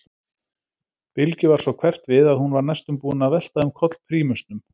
Bylgju varð svo hverft við að hún var næstum búin að velta um koll prímusnum.